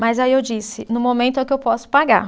Mas aí eu disse, no momento é o que eu posso pagar.